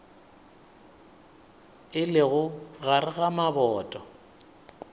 e lego gare ga maboto